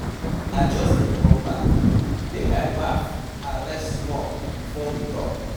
I just dey come back, make I baff and rest small before we talk.